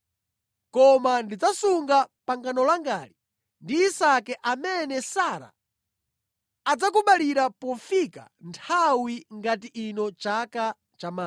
Koma ndidzasunga pangano langali ndi Isake amene Sara adzakubalira pofika nthawi ngati ino chaka chamawa.”